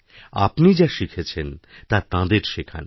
আপনি যা শিখেছেন তা তাঁদের শেখান